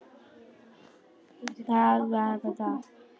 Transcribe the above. Til hvers er þetta notað?